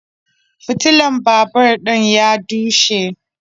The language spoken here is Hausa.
Fitilan babur din ya dushe